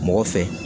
Mɔgɔ fɛ